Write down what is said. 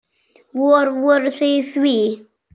Vor, voruð þið í því?